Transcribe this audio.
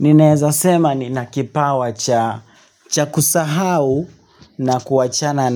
Ninaweza sema nina kipawa cha kusahau na kuachana